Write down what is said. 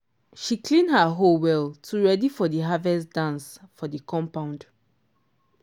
she clean her hoe well to ready for the harvest dance for the compound